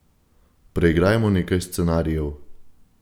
Preigrajmo nekaj scenarijev.